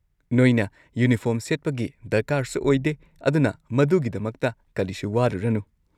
ꯅꯣꯏꯅ ꯌꯨꯅꯤꯐꯣꯔꯝ ꯁꯦꯠꯄꯒꯤ ꯗꯔꯀꯥꯔꯁꯨ ꯑꯣꯏꯗꯦ, ꯑꯗꯨꯅ ꯃꯗꯨꯒꯤꯗꯃꯛꯇ ꯀꯔꯤꯁꯨ ꯋꯥꯔꯨꯔꯅꯨ꯫